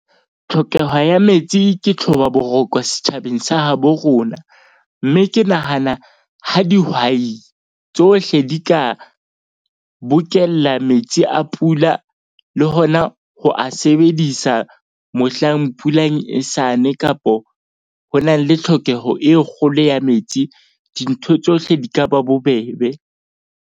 Tlhokeho ya metsi ke tlhoba boroko setjhabeng sa habo rona. Mme ke nahana ha dihwai tsohle di ka bokella metsi a pula, le hona ho a sebedisa mohlang pula e sane kapo ho na le tlhokeho e kgolo ya metsi. Dintho tsohle di ka ba bobebe.